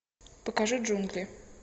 покажи джунгли